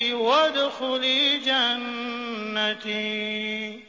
وَادْخُلِي جَنَّتِي